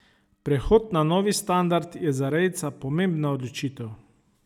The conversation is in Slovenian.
Prehod na novi standard je za rejca pomembna odločitev.